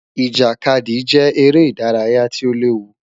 Ijakadi jẹ ere idaraya ti o lewu